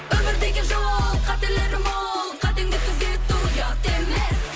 өмір деген жол қателері мол қатеңді түзету ұят емес